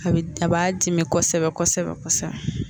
A bɛ da a b'a dimi kosɛbɛ kosɛbɛ kosɛbɛ